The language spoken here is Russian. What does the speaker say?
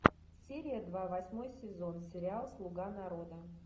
серия два восьмой сезон сериал слуга народа